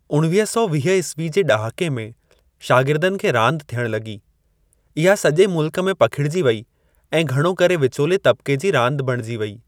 उणवीह सौ वीह ईस्वी जे ॾहाके में शागिर्दनि खे रांदि थियण लॻी। इहा सॼे मुल्क में पखिड़िजी वेई ऐं घणो करे विचोले तब्क़े जी रांदि बणिजी वेई।